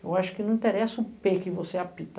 Eu acho que não interessa o que você, apita.